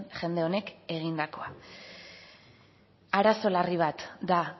jende honek egindakoa arazo larri bat da